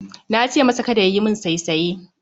Nace masa Kada yayi min saisaye